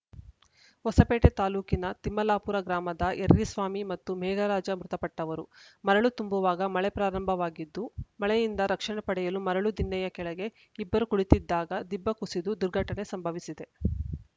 ಹೊಸಪೇಟೆ ತಾಲೂಕಿನ ತಿಮ್ಮಲಾಪುರ ಗ್ರಾಮದ ಎರ್ರಿಸ್ವಾಮಿ ಮತ್ತು ಮೇಘರಾಜ ಮೃತಪಟ್ಟವರು ಮರಳು ತುಂಬುವಾಗ ಮಳೆ ಪ್ರಾರಂಭವಾಗಿದ್ದು ಮಳೆಯಿಂದ ರಕ್ಷಣೆ ಪಡೆಯಲು ಮರಳು ದಿನ್ನೆಯ ಕೆಳೆಗೆ ಇಬ್ಬರು ಕುಳಿತ್ತಿದ್ದಾಗ ದಿಬ್ಬ ಕುಸಿದು ದುರ್ಘಟನೆ ಸಂಭವಿಸಿದೆ